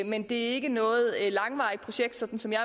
men det er ikke noget langvarigt projekt sådan som jeg